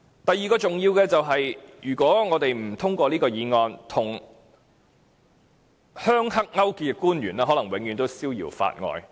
第二，如果我們不通過這項議案，與"鄉黑"勾結的官員可能永遠逍遙法外。